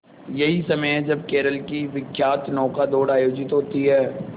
यही समय है जब केरल की विख्यात नौका दौड़ आयोजित होती है